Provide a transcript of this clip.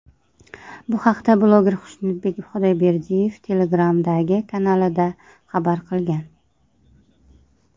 Bu haqda bloger Xushnudbek Xudoyberdiyev Telegram’dagi kanalida xabar qilgan .